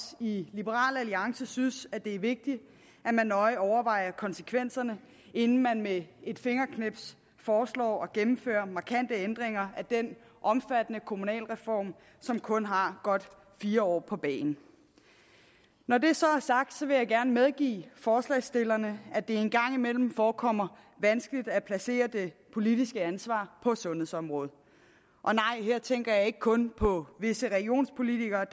i liberal alliance synes det er vigtigt at man nøje overvejer konsekvenserne inden man med et fingerknips foreslår at gennemføre markante ændringer af den omfattende kommunalreform som kun har godt fire år på bagen når det så er sagt vil jeg gerne medgive forslagsstillerne at det engang imellem forekommer vanskeligt at placere det politiske ansvar på sundhedsområdet og nej her tænker jeg ikke kun på visse regionspolitikere